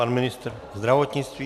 Pan ministr zdravotnictví.